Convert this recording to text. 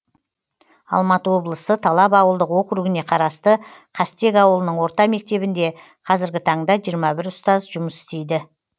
алматы облысы талап ауылдық округіне қарасты қастек ауылының орта мектебінде қазіргі таңда жиырма бір ұстаз жұмыс істейді